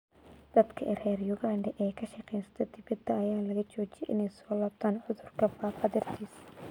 Dadka reer Uganda ee ka shaqeysta dibadda ayaa laga joojiyay inay soo laabtaan cudurka faafa dartiis.